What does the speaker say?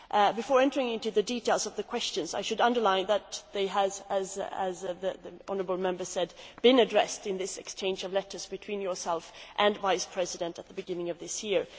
Before entering into the details of the questions, I should underline that they have as the honourable Member said been addressed in this exchange of letters between you and the Vice President at the beginning of this year.